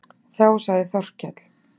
Þá sagði Þórkell